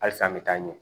Hali san an bɛ taa ɲɛ